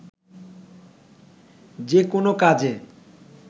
যেকোনো কাজে